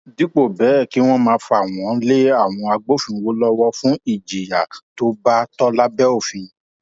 dípò bẹẹ kí wọn máa fà wọn lé àwọn agbófinró lọwọ fún ìjìyà tó bá tọ lábẹ òfin